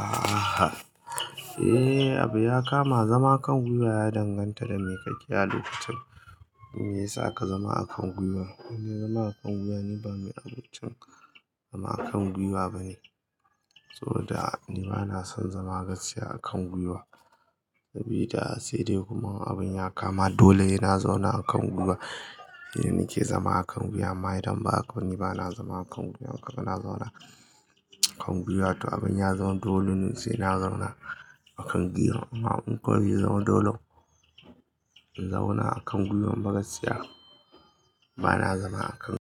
A'a. Eh abu ya kama zama a kan gwiwa ya danganta da me ka ƙeyi a lokacin me yasa ka zama a kan gwiwan. In na zama a kan gwiwa ni ba ma aboncin zama a kan gwiwa bane. So da ni ba na son zama gaskiya a kan gwiwa. Sabida sai dai kuma abin ya kama dole ina zauna a kan gwiwa. Idan na ke zama a kan gwiwa ma idan ba kuwa ni ba na zama a kan gwiwan ka, ka na zauna a kan gwiwa to abin ya zama dole ne sai na zauna a kan gwiwan. In kuma abun kuma be zama dole in zauna a kan gwiwan gaskiya ba na zama a kan.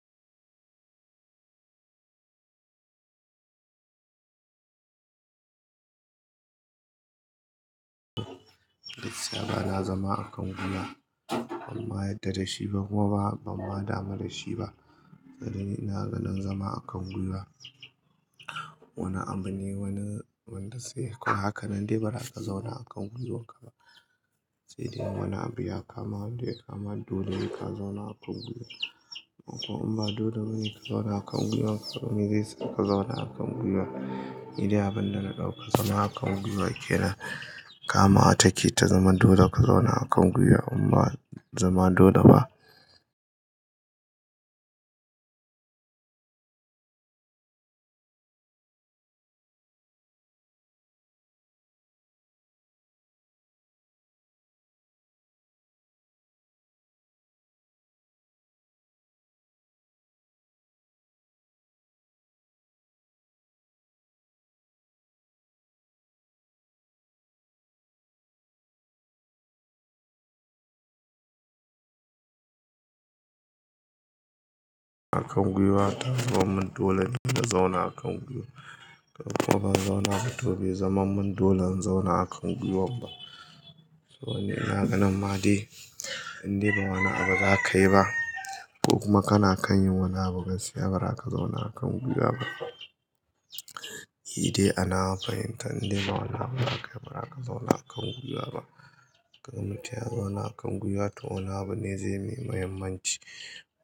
Gaskiya ba na zama a kan gwiwa. Gaskiya ba na zama a kan gwiwa. Dan ina ganin zama a kan gwiwa wani abu ne wanda sai haka nan dai ba za ka zauna a kan gwiwan ka ba. Sai dai wani abu ya kama, wadda ya kama dole ne ka zauna a kan gwiwa. Ko in ba dole ba ne ka zauna a kan gwiwan ka, me zai saka ka zauna a kan gwiwa? Idan abun da na ɗauka zama a kan gwiwa ke nan kamawa take ta zama dole ka zauna a kan gwiwa amma zama dole ba. A kan gwiwa ta ya zama min dole ne na zauna a kan gwiwa. Ko ban zauna ba to bai zama min dole in zauna a kan gwiwan ba. To ina ganin ma dai in dai ba wani abu za ka yi ba ko kuma ka na kan yin wani abu gaskiya ba za ka zauna a kan gwiwa ba. Ni dai anawa fahimta in dai ba wani abu za ka yi ba za ka zauna a kan gwiwa ba. In mutum ya zauna a kan gwiwa to wani abu ne zai yi muhimmanci.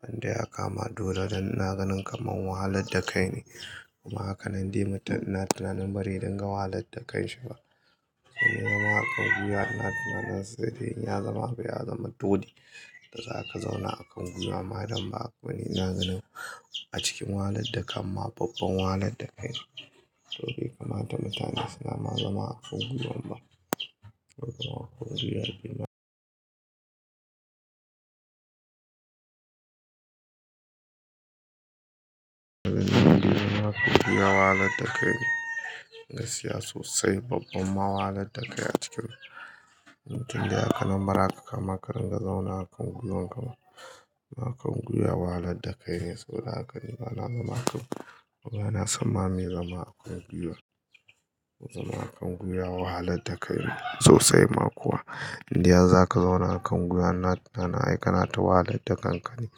Wanda ya kama dole don ina ganin kamar wahalar da kai ne. Kuma haka nan dai mutum ina tunanin bare din ga wahalar da kan shi ba. To me zama a kan gwiwa? iNa tunanin sai dai in ya zama, abu ya zama dole ta za ka zauna a kan gwiwa amma idan ba haka ne ina ganin a cikin wahalar da kan ma babbar wahalar da kai. To bai kamata mutane suna ma zama a kan gwiwan ba. Zama kan gwiwar. Gwiwar wahalar da kai ne gaskiya sosai babbar ma wahalar da kai a cikin mutum. Tunda haka nan baza ka kama ka ringa zauna a kan gwiwan ka ba. Zama akan gwiwa wahalar da kai ne. Saboda haka nima na zama a kan. Ba na son ma me zama a kan gwiwa. Zama a kan gwiwa wahalar da kai ne sosai ma kuwa indai za ka zauna a kan gwiwa ina tunanin ai ka na ta wahalar da kanka ne.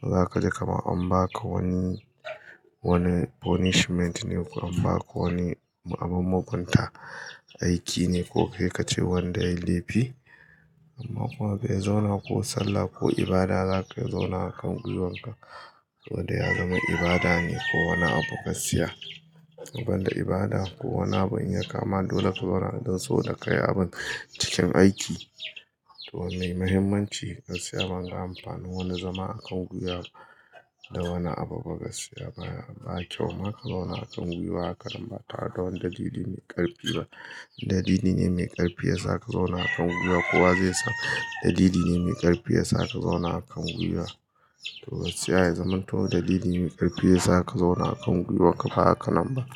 Ba za ka ji kaman an ba ka wani, wani punishment ne ko an ba ka wani abin mugunta, aiki ne ko kai ka ce wanda ya yi laifi. Amma kuwa bai zauna ko sallah ko ibada za ka yi zauna a kan gwiwon ka. To dai ya zama ibada ne ko wani abu gaskiya. Ban da ibada ko wani abin in ya kama dole ku zauna dan so da ka yi abin cikin aiki. To wanni muhimmanci gaskiya ban ga amfanin wani zama a kan gwiwa ba da wani abu ba gaskiya ba. Ba kyau ma ka zauna a kan gwiwa haka nan ba tare da wani dalili mai ƙarfi ba. Dalili ne mai ƙarfi ya sa ka zauna a kan gwiwa kowa zai san dalili ne mai ƙarfi ya sa ka zauna a kan gwiwa. To gaskiya ya zama to dalili ne mai ƙarfi ya sa ka zauna a kan gwiwan ka ba haka nan ba.